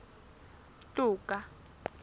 toka